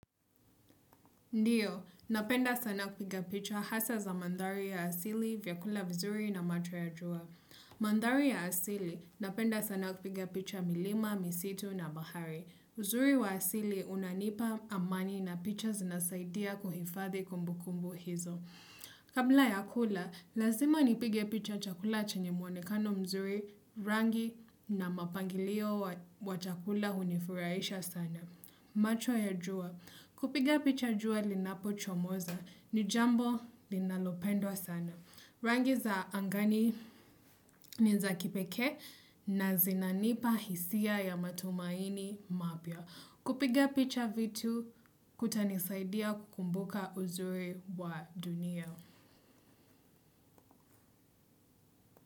Ndiyo, napenda sana kupiga picha hasa za mandhari ya asili vya kula vizuri na macho ya jua. Mandhari ya asili, napenda sana kupiga picha milima, misitu na bahari. Uzuri wa asili unanipa amani na picha zinasaidia kuhifadhi kumbu kumbu hizo. Kabla ya kula, lazima nipige picha chakula chanye mwonekano mzuri rangi na mapangilio wa chakula unifurahisha sana. Macho ya jua. Kupiga picha jua linapo chomoza ni jambo linalopendwa sana. Rangi za angani ni za kipeke na zinanipa hisia ya matumaini mapya kupiga picha vitu kutanisaidia kukumbuka uzuri wa dunia.